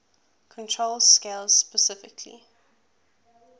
control scales specifically